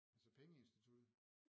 Altså pengeinstituttet?